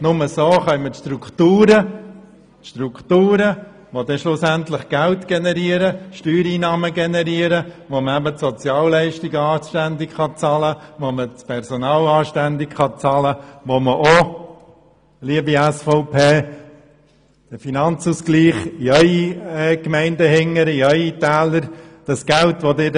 Nur so schaffen wir Strukturen, welche schlussendlich Steuereinnahmen generieren, mit welchen man die Sozialleistungen und das Personal anständig bezahlen kann und mit welchen Sie, liebe SVP, über den Finanzausgleich Geld in Ihre Täler erhalten.